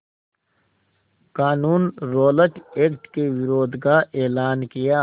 क़ानून Rowlatt act के विरोध का एलान किया